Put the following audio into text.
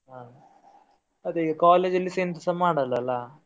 ಹಾ ಅದೇ ಈಗ college ಅಲ್ಲಿಸಾ ಎಂತಸಾ ಮಾಡಲ್ಲ ಅಲ್ಲ.